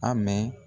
A mɛ